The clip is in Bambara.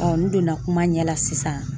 n donna kuma ɲɛ la sisan